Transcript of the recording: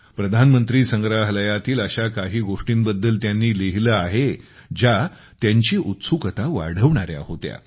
प्रधानमंत्री संग्रहालयातील अशा काही गोष्टींबद्दल त्यांनी लिहिले आहे ज्या त्यांची उत्सुकता वाढवणाऱ्या होत्या